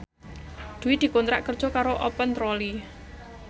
Dwi dikontrak kerja karo Open Trolley